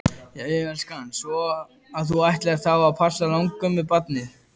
Jæja elskan, svo að þú ætlar þá að passa langömmubarnið?